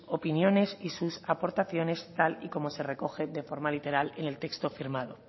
opiniones y sus aportaciones tal y como se recogen de forma literal en el texto firmado